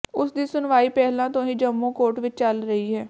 ਉਸ ਦੀ ਸੁਣਵਾਈ ਪਹਿਲਾ ਤੋ ਹੀ ਜੰਮੂ ਕੋਰਟ ਵਿੱਚ ਚੱਲ ਰਹੀ ਹੈ